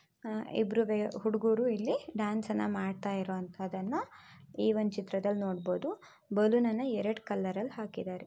ಆಹ್ಹ್ ಇಬ್ಬರೂ ಹುಡುಗರೂ ಇಲ್ಲಿ ಡ್ಯಾನ್ಸ್ ಅನ್ನ ಮಾಡ್ತಾ ಇರೋಅಂತದ್ದನ್ನ ಈ ಒಂದು ಚಿತ್ರದಲ್ಲಿ ನೋಡ್ ಬಹುದು ಬಲೂನನ್ನ ಎರಡ್ ಕಲರ್ ಅಲ್ಲಿ ಹಾಕಿದ್ದಾರೆ.